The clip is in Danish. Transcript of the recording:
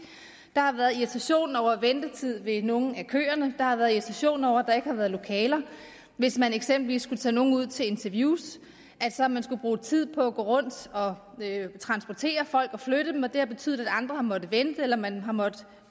der har været irritation over ventetid ved nogle af køerne der har været irritation over at der ikke har været lokaler hvis man eksempelvis skulle tage nogle ud til interviews altså at man skulle bruge tid på at gå rundt og transportere folk og flytte dem og det har betydet at andre har måttet vente eller at man har måttet